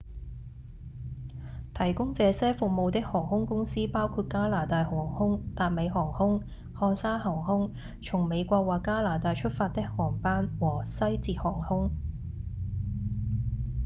提供這些服務的航空公司包括加拿大航空、達美航空、漢莎航空從美國或加拿大出發的航班和西捷航空